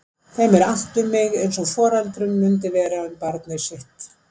Þeim er annt um mig eins og foreldrum mundi vera um barnið sitt.